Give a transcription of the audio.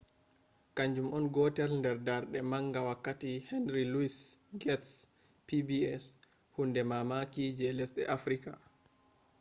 kanjum on gotel nder darde manga wakkati henry louis gates’pbs hunde mamaki je lesde africa